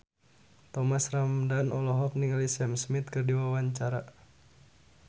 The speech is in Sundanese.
Thomas Ramdhan olohok ningali Sam Smith keur diwawancara